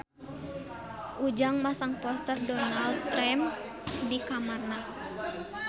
Ujang masang poster Donald Trump di kamarna